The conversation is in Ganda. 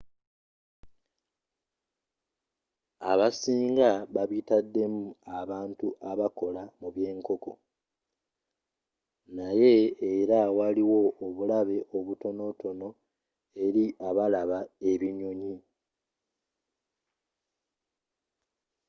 abasinga babitaddemu abantu abakola mu byenkonko naye era waliwo obulabe obutonotono eri abalaba ebinyonyi